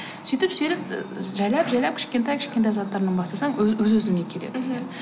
сөйтіп жайлап жайлап кішкентай кішкентай заттардан бастасаң өз өзіңе келеді